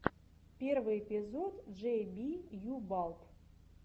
лучший эпизод джей би ю балб